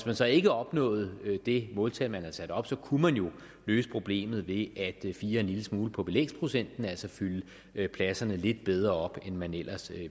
man så ikke opnåede det måltal man havde sat op så kunne man jo løse problemet ved at fire en lille smule på belægsprocenten altså fylde pladserne lidt bedre op end man ellers